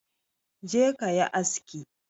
Je ka yi aski!